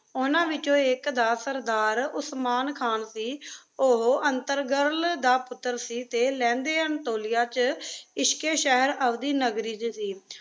ਓਹਨਾ ਵਿਚੋ ਆਇਕ ਦਾ ਸਰਦਾਰ ਓਸਮਾਨ ਖਾਨ ਸੇ ਓਹੋ ਏਰ੍ਤੁਗ੍ਰਾਲ ਦਾ ਪੁਤ੍ਤ੍ਟਰ ਸੇ ਟੀ ਲੇਨ੍ਦਾਂ ਅਨ੍ਤੋਲਿਆ ਵਿਚ ਇਸ਼ਕ਼ ਏ ਸ਼ੇਹਰ ਅਬਦੀ ਨਗਰੀ ਵਿਚ